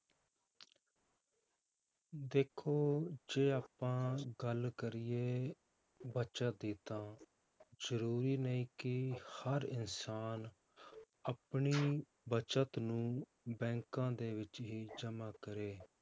ਦੇਖੋ ਜੇ ਆਪਾਂ ਗੱਲ ਕਰੀਏ ਬੱਚਤ ਦੀ ਤਾਂ ਜ਼ਰੂਰੀ ਨਹੀਂ ਕਿ ਹਰ ਇਨਸਾਨ ਆਪਣੀ ਬਚਤ ਨੂੰ ਬੈਂਕਾਂ ਦੇ ਵਿੱਚ ਹੀ ਜਮਾਂ ਕਰੇ